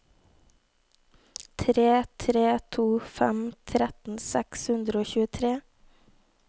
tre tre to fem tretten seks hundre og tjuetre